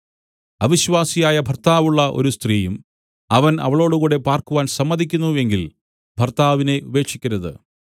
അവിശ്വാസിയായ ഭർത്താവുള്ള ഒരു സ്ത്രീയും അവൻ അവളോടുകൂടെ പാർക്കുവാൻ സമ്മതിക്കുന്നു എങ്കിൽ ഭർത്താവിനെ ഉപേക്ഷിക്കരുത്